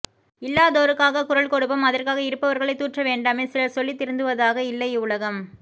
இல்லாதோருக்காக குரல் கொடுப்போம் அதற்காக இருப்பவர்களை தூற்ற வேண்டாமே சிலர் சொல்லித்திருந்துவதாக இல்லை இவ்வுலகம்